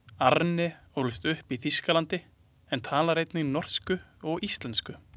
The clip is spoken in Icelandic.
Arne ólst upp í Þýskalandi en talar einnig norsku og íslensku.